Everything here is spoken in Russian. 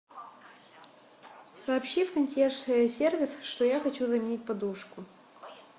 сообщи в консьерж сервис что я хочу заменить подушку